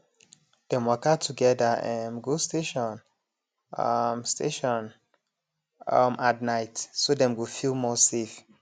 dem waka together um go station um station um at night so dem go feel more safe